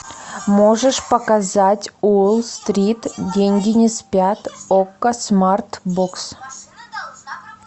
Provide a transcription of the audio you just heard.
можешь показать уолл стрит деньги не спят окко смарт бокс